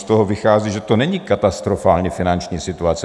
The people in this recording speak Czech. Z toho vychází, že to není katastrofální finanční situace.